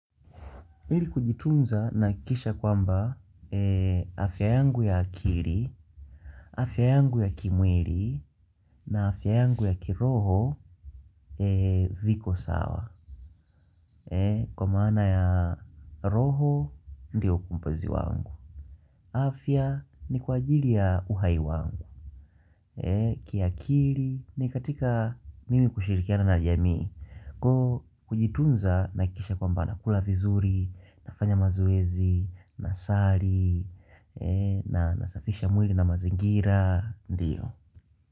Ili kujitunza nahakikisha kwamba afya yangu ya akili, afya yangu ya kimwili na afya yangu ya kiroho viko sawa. Kwa maana ya roho ndiyo ukombozi wangu. Afya ni kwa ajili ya uhai wangu. Kiakili ni katika mimi kushirikiana na jamii. Kujitunza nahakikisha kwamba nakula vizuri, nafanya mazoezi, nasali, na nasafisha mwili na mazingira Ndiyo.